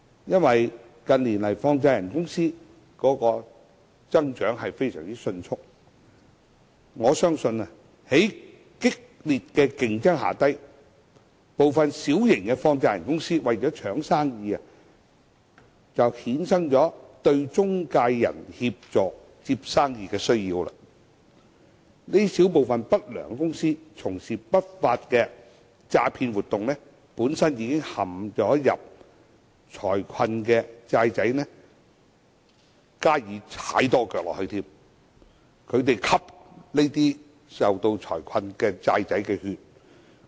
由於近年放債人公司增長迅速，我相信在激烈競爭下，部分小型放債人公司為了爭生意，便衍生了對中介人協助接生意的需要，這小部分不良公司從事不法的詐騙活動，向本身已陷財困的"債仔"再多踩一腳，吸財困"債仔"的血。